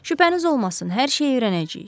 Şübhəniz olmasın, hər şeyi öyrənəcəyik.